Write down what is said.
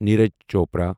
Neeraj Chopra